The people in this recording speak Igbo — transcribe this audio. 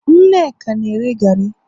Nneka na- ere gari